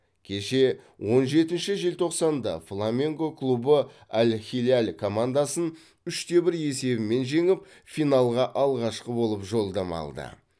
кеше он жетінші желтоқсанда фламенго клубы аль хиляль командасын үште бір есебімен жеңіп финалға алғашқы болып жолдама алды